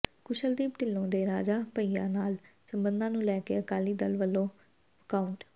ਕੁਸ਼ਲਦੀਪ ਢਿੱਲੋਂ ਦੇ ਰਾਜਾ ਭਈਆ ਨਾਲ ਸਬੰਧਾਂ ਨੂੰ ਲੈ ਕੇ ਅਕਾਲੀ ਦਲ ਵਲੋਂ ਵਾਕਆਊਟ